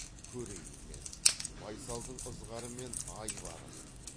көрейін мен байсалдың ызғары мен айбарын